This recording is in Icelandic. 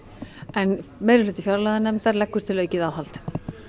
en meirihluti fjárlaganefndar leggur til aukið aðhald